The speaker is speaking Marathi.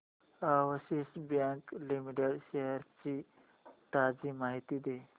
अॅक्सिस बँक लिमिटेड शेअर्स ची ताजी माहिती दे